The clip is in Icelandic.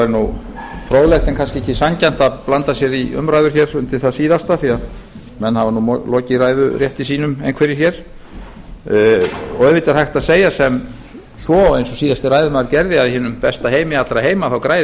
en kannski ekki sanngjarnt að blanda sér í umræður hér undir það síðasta því að menn hafa nú lokið ræðurétti sínum einhverjir hér auðvitað er hægt að segja sem svo eins og síðasti ræðumaður gerði að í hinum besta heimi allra heima græði